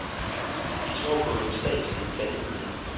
De tror på en statslig planøkonomi.